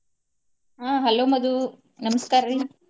ಆಹ್ Hello Madhu ನಮಸ್ಕಾರಿ.